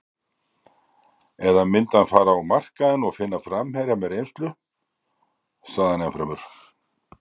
Eða myndi hann fara á markaðinn og finna framherja með reynslu? sagði hann ennfremur.